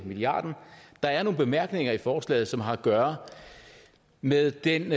milliarden der er nogle bemærkninger i forslaget som har at gøre med den